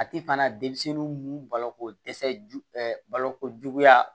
A ti fana denmisɛnninw balo ko dɛsɛ ju balokojuguya